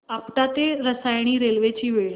आपटा ते रसायनी रेल्वे ची वेळ